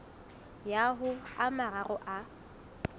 ya ho a mararo a